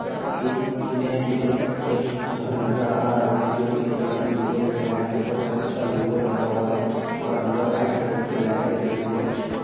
इस इमेज में एक घर नजर आ रहा है जो पिंक कलर में दिखाय दे रहा है ऊपर चर्च का लोगो लगा हुवा है और अंदर वाईट कलर की लाईट जल रही है।